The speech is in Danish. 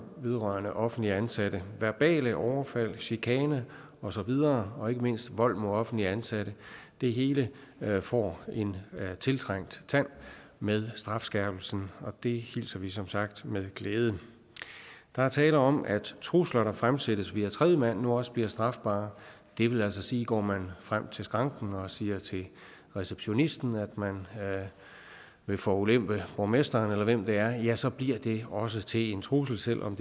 vedrørende offentligt ansatte verbale overfald chikane og så videre og ikke mindst vold mod offentligt ansatte det hele får en tiltrængt tand med strafskærpelsen og det hilser vi som sagt med glæde der er tale om at trusler der fremsættes via tredjemand nu også bliver strafbart det vil altså sige at går man frem til skranken og siger til receptionisten at man vil forulempe borgmesteren eller hvem det er ja så bliver det også til en trussel selv om